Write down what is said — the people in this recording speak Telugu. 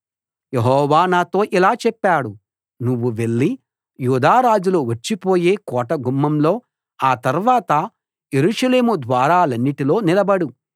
యెహోవా నాతో ఇలా చెప్పాడు నువ్వు వెళ్లి యూదా రాజులు వచ్చిపోయే కోట గుమ్మంలో ఆ తర్వాత యెరూషలేము ద్వారాలన్నిటిలో నిలబడు